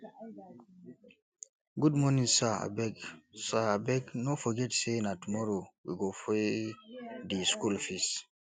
good morning sir abeg sir abeg no forget sey na tomorrow we go pay di skool fees um